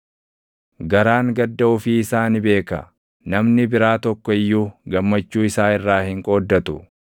Garaan gadda ofii isaa ni beeka; namni biraa tokko iyyuu gammachuu isaa irraa hin qooddatu.